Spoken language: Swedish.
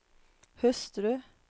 hustru